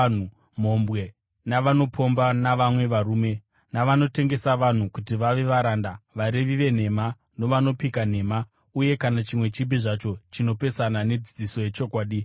mhombwe navanopomba navamwe varume, navanotengesa vanhu kuti vave varanda, varevi venhema, navanopika nhema, uye kana chimwe chipi zvacho chinopesana nedzidziso yechokwadi